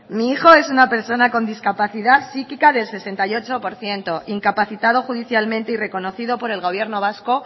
mi hijo es una persona con discapacidad psíquica del sesenta y ocho por ciento incapacitado judicialmente y reconocido por el gobierno vasco